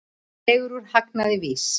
Dregur úr hagnaði VÍS